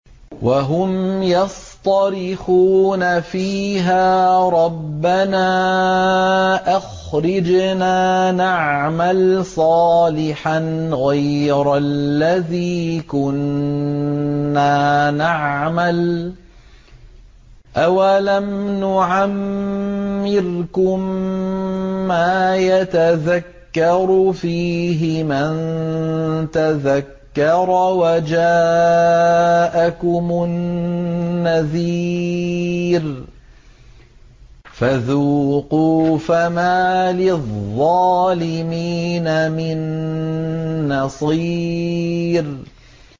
وَهُمْ يَصْطَرِخُونَ فِيهَا رَبَّنَا أَخْرِجْنَا نَعْمَلْ صَالِحًا غَيْرَ الَّذِي كُنَّا نَعْمَلُ ۚ أَوَلَمْ نُعَمِّرْكُم مَّا يَتَذَكَّرُ فِيهِ مَن تَذَكَّرَ وَجَاءَكُمُ النَّذِيرُ ۖ فَذُوقُوا فَمَا لِلظَّالِمِينَ مِن نَّصِيرٍ